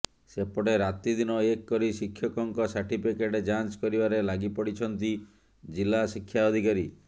ସେପଟେ ରାତିଦିନ ଏକ କରି ଶିକ୍ଷକଙ୍କ ସାର୍ଟିଫିକେଟ ଯାଞ୍ଚ କରିବାରେ ଲାଗି ପଡିଛନ୍ତି ଜିଲ୍ଲା ଶିକ୍ଷା ଅଧିକାରୀ